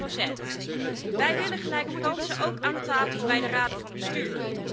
33 Wij willen gelijke kansen, ook aan de tafels bij de raden van bestuur.